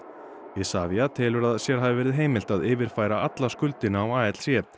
Isavia telur sér hafa verið heimilt að yfirfæra alla skuldina á